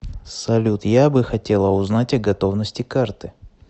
салют я бы хотела узнать о готовности карты